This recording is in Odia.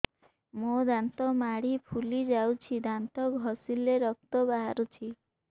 ମୋ ଦାନ୍ତ ମାଢି ଫୁଲି ଯାଉଛି ଦାନ୍ତ ଘଷିଲେ ରକ୍ତ ବାହାରୁଛି